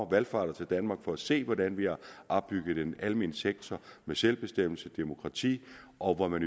valfarter til danmark for at se hvordan vi har opbygget en almen sektor med selvbestemmelse og demokrati og hvor man